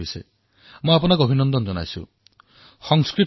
অহং ভৱত্তাঃ অভিনন্দনং কৰোমি